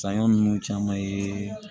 Saɲɔ ninnu caman ye